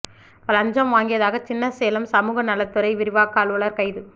லஞ்சம் வாங்கியதாக சின்ன சேலம் சமூகநலத் துறை விரிவாக்க அலுவலர் கைது